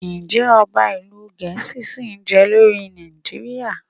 Ǹjẹ́ Ọba ìlú Gẹ̀ẹ́sì ṣìí je lórí Nàìjíríà?